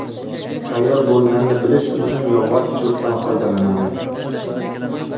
Tayyor bo‘lganini bilish uchun yog‘och cho‘pdan foydalanamiz.